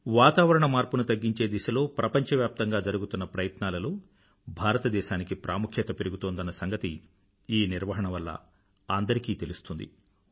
వాతావరణ మార్పుని తగ్గించే దిశలో ప్రపంచవ్యాప్తంగా జరుగుతున్న ప్రయత్నాలలో భారతదేశానికి ప్రాముఖ్యత పెరుగుతోందన్న సంగతి ఈ నిర్వహణ వల్ల అందరికీ తెలుస్తుంది